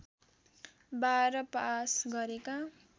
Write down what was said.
१२ pass गरेका